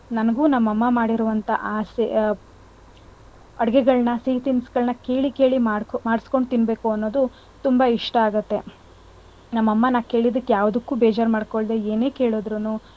ನನ್ಗು ನಮ್ ಅಮ್ಮ ಮಾಡಿರುವಂತಹ ಆಸೆ ಅಡ್ಗೆಗಳ್ನ ಸಿಹಿ ತಿನ್ಸಗಳ್ನ ಕೇಳಿ ಕೇಳಿ ಮಾಡ್~ ಮಾಡ್ಸ್ಕೊಂಡು ತಿನ್ಬೇಕು ಅನ್ನೋದು ತುಂಬಾ ಇಷ್ಟ ಆಗುತ್ತೆ. ನಮ್ ಅಮ್ಮ ನಾನ್ ಕೇಳಿದುಕ್ಕೆ ಯಾವ್ದುಕ್ಕು ಬೇಜಾರ್ ಮಾಡ್ಕೊಳ್ದೆ ಏನೇ ಕೇಳುದ್ರೂನು,